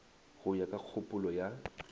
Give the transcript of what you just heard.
go ya ka kgopolo ya